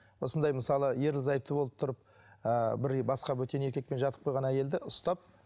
осындай мысалы ерлі зайыпты болып тұрып ыыы бір басқа бөтен еркекпен жатып қойған әйелді ұстап